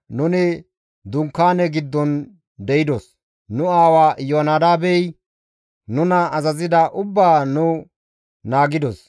Nuni dunkaane giddon de7idos; nu aawa Iyoonadaabey nuna azazida ubbaa nu naagidos.